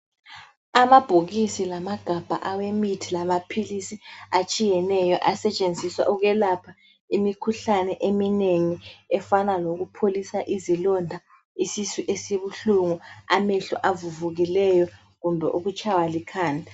Amabhokisi lamagabha awemithi kanye lamaphilisi atshiyeneyo asetshenziswa ukwelapha imikhuhlane eminengi efana lokupholisa izilonda, isisu esibuhlungu, amehlo avuvukileyo kumbe ukutshaywa likhanda.